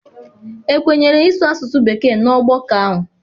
Ekwenyere ịsụ asụsụ bekee na ọgbakọ ahụ?